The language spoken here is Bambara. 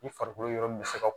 I farikolo yɔrɔ min mi se ka